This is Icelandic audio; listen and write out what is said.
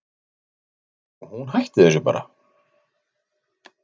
Og hún hætti þessu bara.